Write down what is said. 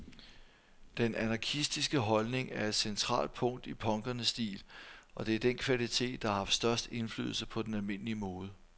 Den anarkistiske holdning er et centralt punkt i punkernes stil, og det er den kvalitet, der har haft størst indflydelse på den almindelige mode.